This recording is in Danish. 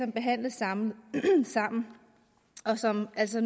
behandles sammen sammen og som altså